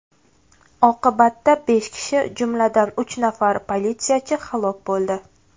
Oqibatda besh kishi, jumladan, uch nafar politsiyachi halok bo‘ldi.